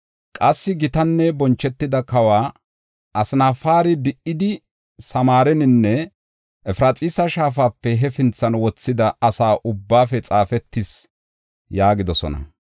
qassi gitanne bonchetida kawa Asnafaari di77idi Samaareninne Efraxiisa Shaafape hefinthan wothida asa ubbaafe xaafetis” yaagidosona.